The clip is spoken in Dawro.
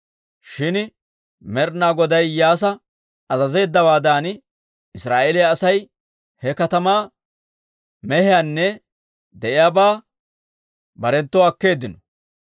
Shin Med'ina Goday Iyyaasa azazeeddawaadan, Israa'eeliyaa Asay he katamaa mehiyaanne de'iyaabaa barenttoo akkeeddino.